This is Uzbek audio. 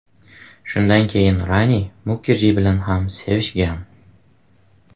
Shundan keyin Rani Mukerji bilan ham sevishgan.